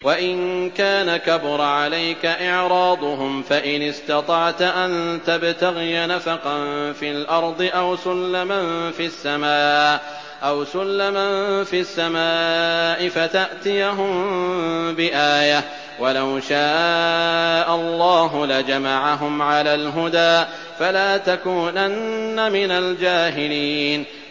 وَإِن كَانَ كَبُرَ عَلَيْكَ إِعْرَاضُهُمْ فَإِنِ اسْتَطَعْتَ أَن تَبْتَغِيَ نَفَقًا فِي الْأَرْضِ أَوْ سُلَّمًا فِي السَّمَاءِ فَتَأْتِيَهُم بِآيَةٍ ۚ وَلَوْ شَاءَ اللَّهُ لَجَمَعَهُمْ عَلَى الْهُدَىٰ ۚ فَلَا تَكُونَنَّ مِنَ الْجَاهِلِينَ